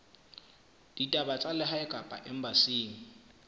ditaba tsa lehae kapa embasing